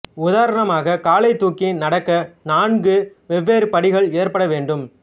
உதாரணமாக காலை தூக்கி நடக்க நான்கு வெவ்வேறு படிகள் ஏற்பட வேண்டும்